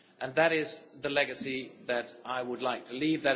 That is the legacy that I would like to leave.